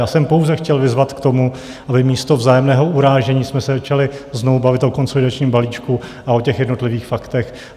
Já jsem pouze chtěl vyzvat k tomu, aby místo vzájemného urážení jsme se začali znovu bavit o konsolidačním balíčku a o těch jednotlivých faktech.